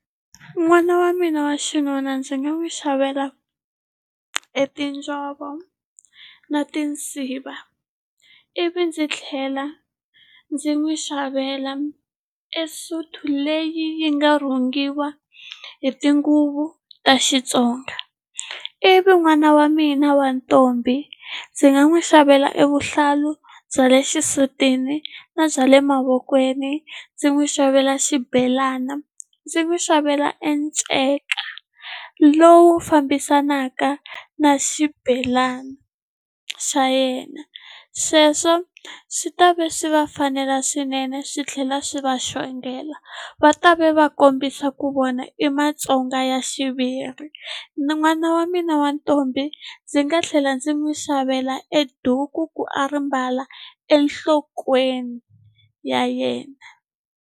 N'wana wa mina wa xinuna ndzi nga n'wi xavela e tinjhovo na tinsiva ivi ndzi tlhela ndzi n'wi xavela e sutu leyi yi nga rhungiwa hi tinguvu ta Xitsonga ivi n'wana wa mina wa ntombi ndzi nga n'wi xavela e vuhlalu bya le xisutini na bya le mavokweni ndzi n'wi xavela xibelana ndzi n'wi xavela e nceka lowu fambisanaka na xibelana xa yena sweswo swi ta va swi va fanela swinene swi tlhela swi va xongela va ta ve va kombisa ku vona i Matsonga ya xiviri n'wana wa mina wa ntombi ndzi nga tlhela ndzi n'wi xavela e duku ku a ri mbala enhlokweni ya yena.